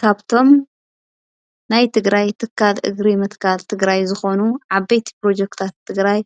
ካብቶም ናይ ትግራይ ትካል እግሪ ምትካል ትግራይ ዝኾኑ ዓበይቲ ፕሮጀክትታት ትግራይ